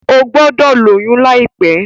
O gbọdọ lóyún laipẹ!